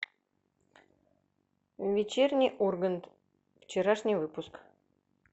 вечерний ургант вчерашний выпуск